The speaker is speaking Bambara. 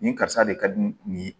Nin karisa de ka di nin